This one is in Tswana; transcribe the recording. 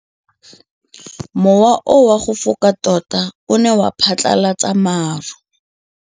Mowa o wa go foka tota o ne wa phatlalatsa maru.